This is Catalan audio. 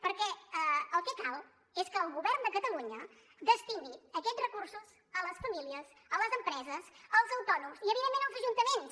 perquè el que cal és que el govern de catalunya destini aquests recursos a les famílies a les empreses als autònoms i evidentment als ajuntaments